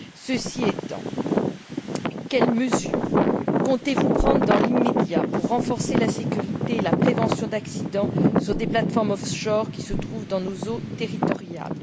Ceci étant, quelles mesures comptez vous prendre dans l'immédiat pour renforcer la sécurité et la prévention d'accidents sur des plateformes off shore qui se trouvent dans nos eaux territoriales?